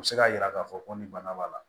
U bɛ se k'a jira k'a fɔ ko nin bana b'a la